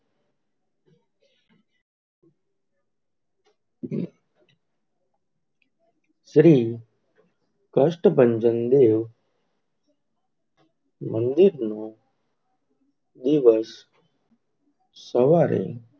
શ્રી કષ્ટભંજન દેવ મંદિર નું દિવશ સવારે,